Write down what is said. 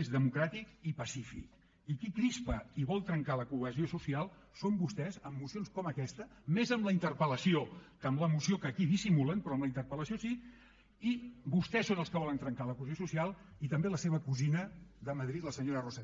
és democràtic i pacífic i qui crispa i vol trencar la cohesió social són vostès amb mocions com aquesta més en la interpellació que en la moció que aquí dissimulen però en la interpelhesió social i també la seva cosina de madrid la senyora rosa díez